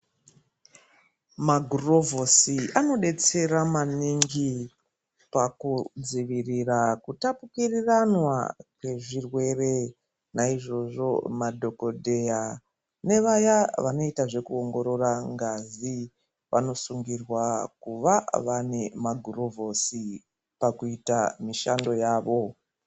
Magurovhosi anodetsera maningi pakudzivirira kutapukiriranwa kwezvirwere naizvozvo madhokodheya nevaya vanoita zvekuongorora ngazi vanosungirwa kuva vane magurovhosi pakuita mishando yavo.